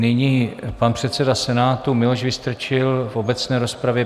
Nyní pan předseda Senátu Miloš Vystrčil v obecné rozpravě.